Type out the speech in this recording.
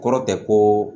Kɔrɔ tɛ ko